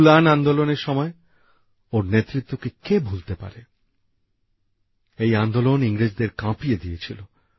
উল্গুলান আন্দোলনের সময় ওঁর নেতৃত্বকে কে ভুলতে পারে এই আন্দোলন ইংরেজদের কাঁপিয়ে দিয়েছিল